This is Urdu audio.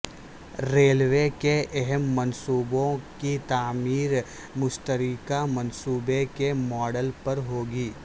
ریلوے کے اہم منصوبوں کی تعمیر مشترکہ منصوبے کے ماڈل پر ہوگی